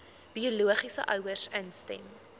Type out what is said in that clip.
biologiese ouers instem